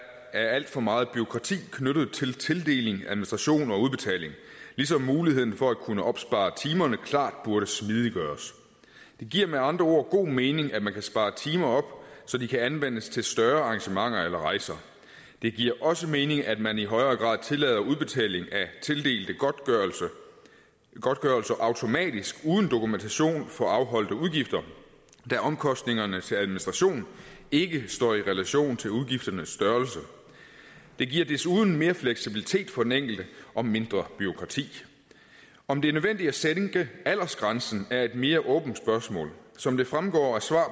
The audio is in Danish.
er alt for meget bureaukrati knyttet til tildeling administration og udbetaling ligesom muligheden for at kunne opspare timerne klart burde smidiggøres det giver med andre ord god mening at man kan spare timer op så de kan anvendes til større arrangementer eller rejser det giver også mening at man i højere grad tillader udbetaling af tildelte godtgørelser automatisk uden dokumentation for afholdte udgifter da omkostningerne til administration ikke står i relation til udgifternes størrelse det giver desuden mere fleksibilitet for den enkelte og mindre bureaukrati om det er nødvendigt at sænke aldersgrænsen er et mere åbent spørgsmål som det fremgår af svar